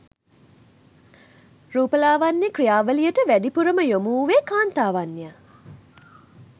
රූපලාවන්‍ය ක්‍රියාවලියට වැඩිපුර ම යොමුවූයේ කාන්තාවන් ය.